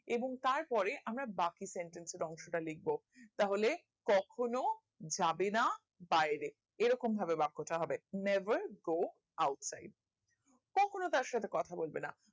এবং তার পরে আমরা বাকি sentence এর অংশ টা লিখবো তাহলে কখনো যাবে না বাইরে এইরকম ভাবে বাক্য টা হবে never go outside কখনো তার সাথে কথা বলবে না